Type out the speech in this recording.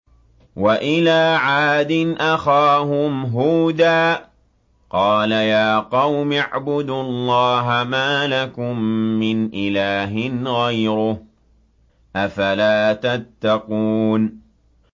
۞ وَإِلَىٰ عَادٍ أَخَاهُمْ هُودًا ۗ قَالَ يَا قَوْمِ اعْبُدُوا اللَّهَ مَا لَكُم مِّنْ إِلَٰهٍ غَيْرُهُ ۚ أَفَلَا تَتَّقُونَ